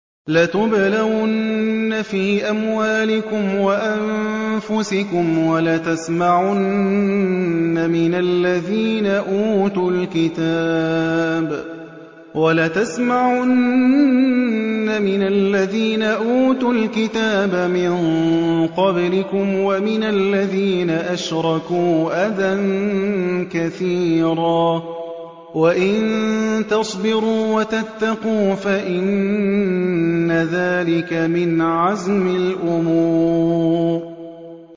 ۞ لَتُبْلَوُنَّ فِي أَمْوَالِكُمْ وَأَنفُسِكُمْ وَلَتَسْمَعُنَّ مِنَ الَّذِينَ أُوتُوا الْكِتَابَ مِن قَبْلِكُمْ وَمِنَ الَّذِينَ أَشْرَكُوا أَذًى كَثِيرًا ۚ وَإِن تَصْبِرُوا وَتَتَّقُوا فَإِنَّ ذَٰلِكَ مِنْ عَزْمِ الْأُمُورِ